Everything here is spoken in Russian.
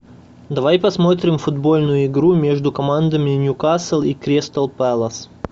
давай посмотрим футбольную игру между командами ньюкасл и кристал пэлас